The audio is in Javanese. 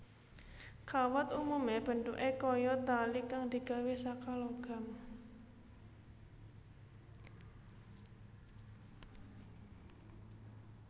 Kawat umume bentuké kaya tali kang digawé saka logam